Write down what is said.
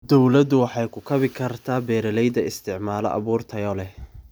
Dawladdu waxay ku kabi kartaa beeralayda isticmaala abuur tayo leh.